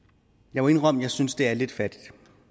jeg må indrømme at jeg synes det er lidt fattigt